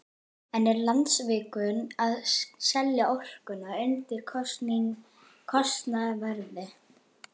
En er Landsvirkjun að selja orkuna undir kostnaðarverði?